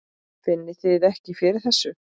Finnið þið ekki fyrir þessu?